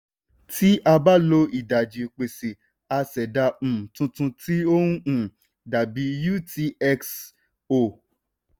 tí a bá lo ìdajì ìpèsè a ṣẹ̀dá um tuntun tí ó um dàbí utxo.